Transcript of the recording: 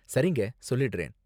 சரிங்க, சொல்லிடுறேன்.